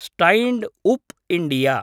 stand up India